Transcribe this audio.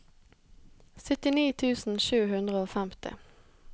syttini tusen sju hundre og femti